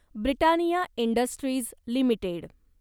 Britannia industries limited